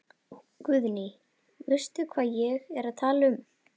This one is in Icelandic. Guðný: Veistu hvað ég er að tala um?